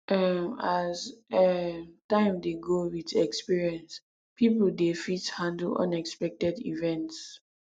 um as um time dey go with experience pipo dey fit handle unexpected events